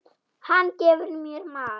Hann gefur mér mat.